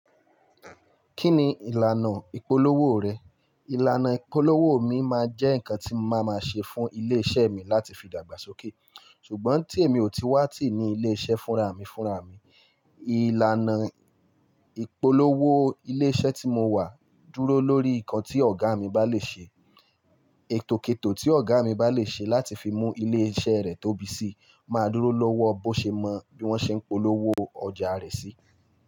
Kí ni ìlànà ìpolówó rẹ? Ìlànà ìpolówó mi máa jẹ́ nǹkan tí mo máa ma ṣe fún ilé-iṣẹ́ mi láti fi dàgbàsókè, ṣùgbọ́n tí èmi ò tíì wá tìí ní ilé-iṣẹ́ fúnra mi fúnra mi. Ìlànà ìpolówó ilé-iṣẹ́ tí mo wà dúró lórí nǹkan tí ọ̀gá mi bá lè ṣe. Ètòkèètò tí ọ̀gá mi bá lè ṣe láti fi mú ilé-iṣẹ́ rẹ̀ tóbi sí máa dúró lọ́wọ́ bó ṣe mọ bí wọ́n ṣe ń polówó ọjà rẹ̀ sí.